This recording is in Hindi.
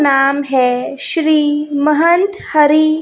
नाम है श्री महंत हरी--